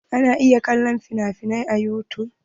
Ana iya kallon finafinai a yutub.